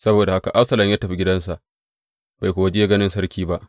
Saboda haka Absalom ya tafi gidansa, bai kuwa je ganin sarki ba.